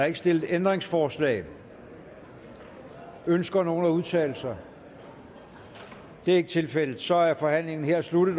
ikke stillet ændringsforslag ønsker nogen at udtale sig det er ikke tilfældet så er forhandlingen her sluttet